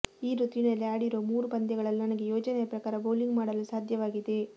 ಈ ಋತುವಿನಲ್ಲಿ ಆಡಿರುವ ಮೂರು ಪಂದ್ಯಗಳಲ್ಲೂ ನನಗೆ ಯೋಜನೆಯ ಪ್ರಕಾರ ಬೌಲಿಂಗ್ ಮಾಡಲು ಸಾಧ್ಯವಾಗಿದೆ